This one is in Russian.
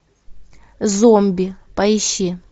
зомби поищи